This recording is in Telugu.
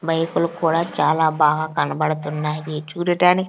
బైకులు కూడా చాలా బాగా కనబడుతున్నాయి చూడటాని--